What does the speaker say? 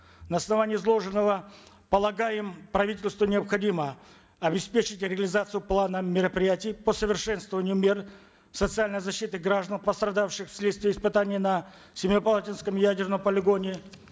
на основании изложенного полагаем правительству необходимо обеспечить реализацию плана мероприятий по совершенствованию мер социальной защиты граждан пострадавших вследствие испытаний на семипалатинском ядерном полигоне